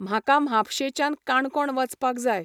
म्हाका म्हापशेच्यान काणकोण वचपाक जाय.